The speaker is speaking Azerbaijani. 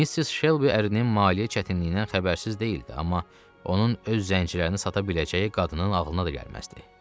Missis Shelby ərinin maliyyə çətinliyindən xəbərsiz deyildi, amma onun öz zəncilərini sata biləcəyi qadının ağlına da gəlməzdi.